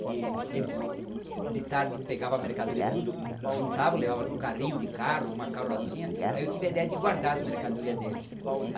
Que eles, de tarde, pegavam a mercadoria tudo, juntavam, levavam num carrinho de carro, uma carrocinha, aí eu tive a ideia de guardar as mercadorias deles.